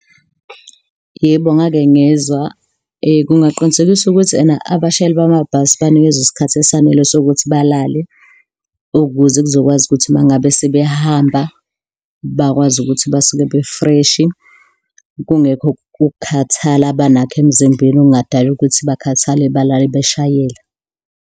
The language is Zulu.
Yebo, ngake ngezwa, kungaqinisekiswa ukuthi ena abashayeli bamabhasi banikezwe isikhathi esanele sokuthi balale ukuze kuzokwazi ukuthi uma ngabe sebehamba bakwazi ukuthi basuke befreshi, kungekho ukukhathala abanakho emzimbeni okungadala ukuthi bakhathale balale beshayela.